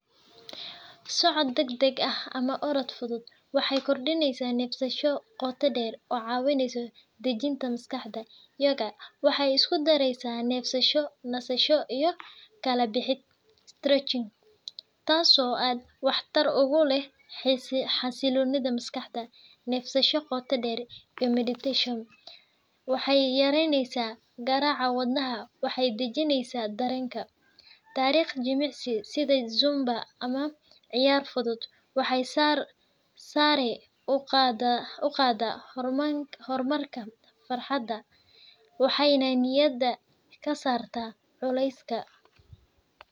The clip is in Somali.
Socod dadg dag ah ama orod fudud waxee kordineysa nefsasho qota deer oo cawineyso dajinta maskaxda, waxee isku dareysa nefsasho nisasho iyo kala bixid stretching tas oo an wax tar ugu leh xasilonidha maskaxda nefsasho qota deer iyo meditation waxee yareynesa garaca wadnaha waxee dajineysa darenka, tariq jimicsi sitha zumba ama ciyar fudud waxee sare uqada hormarka farxada waxena niyaada kasarta culeska.